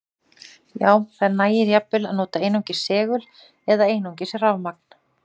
Já, það nægir jafnvel að nota einungis segul eða einungis rafmagn.